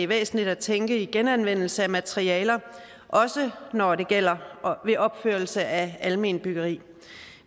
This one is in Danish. væsentligt at tænke i genanvendelse af materialer også når det gælder opførelse af alment byggeri